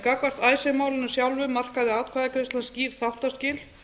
gagnvart icesave málinu sjálfu markaði atkvæðagreiðslan skýr þáttaskil